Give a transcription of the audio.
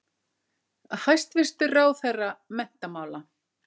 Hæstvirtur ráðherra menntamála.